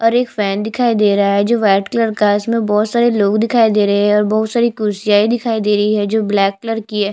और एक फैन दिखाई दे रहा है जो वाइट कलर का है उसमें बोहोत सारे लोग दिखाई दे रहे है और बहुत सारी कुर्सियाँई दिखाई दे रही है जो ब्लैक कलर की हैं।